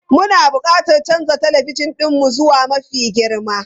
Muna buƙatar canza talabijin ɗinmu zuwa mafi girma.